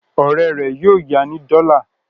Ọ̀rẹ́ rẹ̀ yóò ya ní dọ́là.